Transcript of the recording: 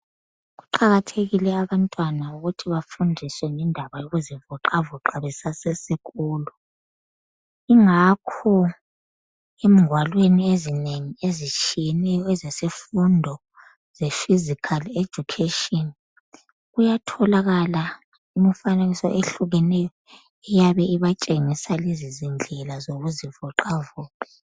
Kuqakathekile abantwana ukuthi bafundiswe ngendaba yokuzivoxavoxa besasesikolo. Ingakho engwalweni ezinengi ezitshiyeneyo ezesifundo ze Physical Education kuyatholakala imifanekiso ehlukeneyo eyabe ibatshengisa lezi zindlela zokuzivoxavoxa.